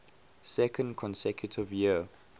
second consecutive year